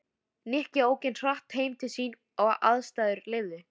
Nikki ók eins hratt heim til sín og aðstæður leyfðu.